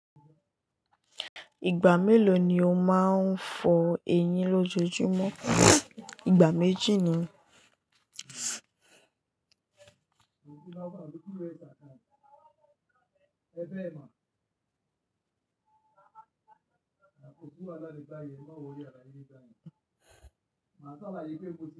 Ìgbà mélòó ni o máa ń fọ eyín lójojúmọ́? Ìgbà méjì ni.